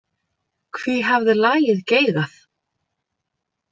Hví hafði lagið geigað?